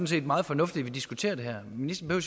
set meget fornuftigt at vi diskuterer det her ministeren